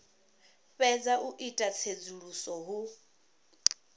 fhedza u ita tsedzuluso hu